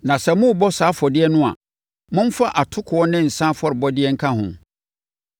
Na sɛ morebɔ saa afɔdeɛ no a, momfa atokoɔ ne nsã afɔrebɔdeɛ nka ho.